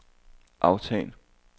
aftal